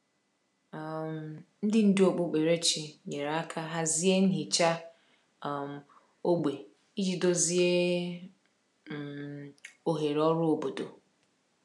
um Ndị ndú okpukperechi nyere aka hazie nhicha um ógbè iji dozie um oghere ọrụ obodo.